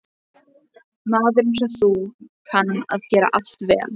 Maður einsog þú kann að gera allt vel.